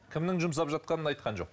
кімнің жұмсап жатқанын айтқан жоқ